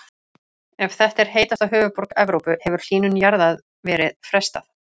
Ef þetta er heitasta höfuðborg Evrópu hefur hlýnun jarðar verið frestað.